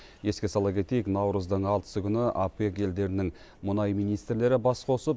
еске сала кетейік наурыздың алтысы күні опек елдерінің мұнай министрлері бас қосып